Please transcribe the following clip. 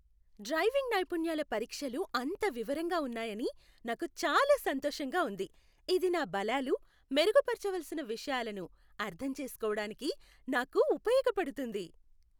Driving నైపుణ్యాల పరీక్షలు అంత వివరంగా ఉన్నాయని నాకు చాలా సంతోషంగా ఉంది, ఇది నా బలాలు, మెరుగుపరచవలసిన విషయాలను అర్థం చేసుకోవడానికి నాకు ఉపయోగపడుతోంది.